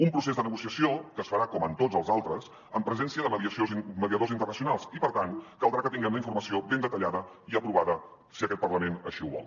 un procés de negociació que es farà com tots els altres amb presència de mediadors internacionals i per tant caldrà que tinguem la informació ben detallada i aprovada si aquest parlament així ho vol